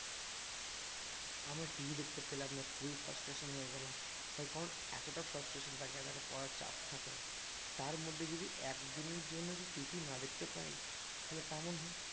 আমরা TV দেখতে পেলাম না খুবই frustration হয়ে গেলাম তাই কারণ এতটা frustration থাকে এতটা পড়ার চাপ থাকে তার মধ্যে যদি একদিনের জন্য যদি TV না দেখতে পাই তাহলে কেমন হয়?